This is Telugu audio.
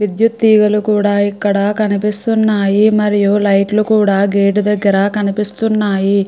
విద్యుత్ తీగలు కూడా ఇక్కడ కనిపిస్తున్నాయి మరియు లైట్ లు కూడా గేట్ దగ్గర కనిపిస్తున్నాయి.